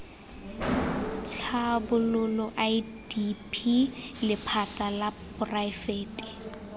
tlhabololo idp lephata la poraefete